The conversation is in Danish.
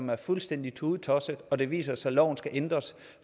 være fuldstændig tudetosset og det viser sig at loven skal ændres